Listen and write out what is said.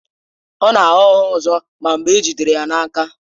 Ọ na-agha ụgha ọzọ ma mgbe e jidere ya na-aka.